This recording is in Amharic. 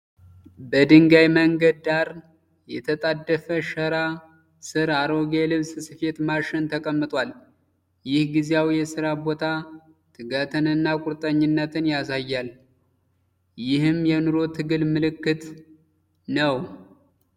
በድንጋይ መንገድ ዳር የተጣደፈ ሸራ ስር፣ አሮጌ የልብስ ስፌት ማሽን ተቀምጧል። ይህ ጊዜያዊ የስራ ቦታ ትጋትንና ቁርጠኝነትን ያሳያል፤ ይህም የኑሮ ትግል ምልክት ነው።